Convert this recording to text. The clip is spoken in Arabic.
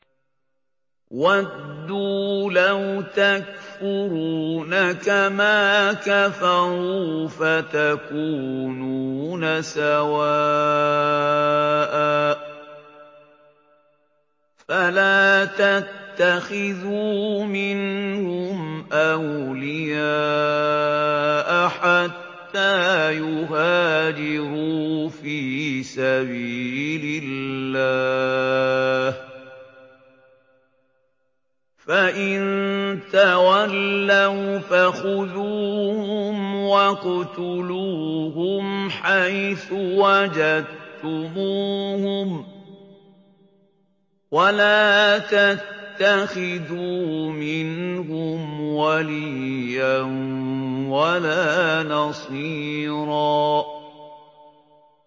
وَدُّوا لَوْ تَكْفُرُونَ كَمَا كَفَرُوا فَتَكُونُونَ سَوَاءً ۖ فَلَا تَتَّخِذُوا مِنْهُمْ أَوْلِيَاءَ حَتَّىٰ يُهَاجِرُوا فِي سَبِيلِ اللَّهِ ۚ فَإِن تَوَلَّوْا فَخُذُوهُمْ وَاقْتُلُوهُمْ حَيْثُ وَجَدتُّمُوهُمْ ۖ وَلَا تَتَّخِذُوا مِنْهُمْ وَلِيًّا وَلَا نَصِيرًا